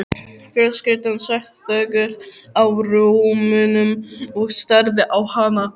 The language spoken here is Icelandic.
Fjölskyldan sat þögul á rúmunum og starði á hana.